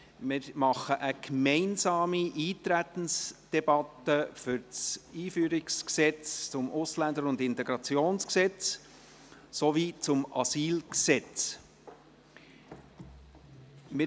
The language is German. Wir führen eine gemeinsame Eintretensdebatte zum Einführungsgesetz zum Ausländer- und Integrationsgesetz sowie zum Asylgesetz (EG AIG und AsylG) und zum Gesetz über die Sozialhilfe im Asyl- und Flüchtlingsbereich (SAFG).